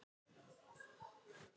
Dvergasteini